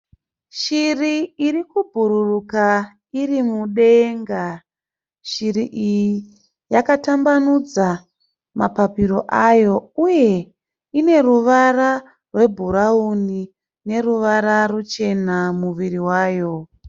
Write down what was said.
Shiri iri kubhururuka iri mudenga. Shiri iyi yakatambanudza mapapiro ayo. Uye ineruvara rwe bhurauni neruvara ruchena muviri wayo.